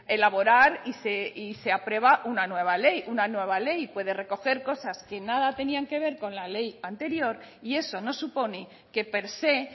elaborar y se aprueba una nueva ley una nueva ley puede recoger cosas que nada tenían que ver con la ley anterior y eso no supone que per se